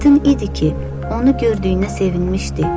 Aydın idi ki, onu gördüyünə sevinmişdi.